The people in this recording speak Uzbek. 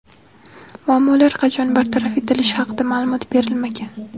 Muammolar qachon bartaraf etilishi haqida ma’lumot berilmagan.